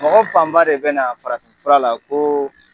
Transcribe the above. Mɔgɔ fan ba de be na farafi fura la ko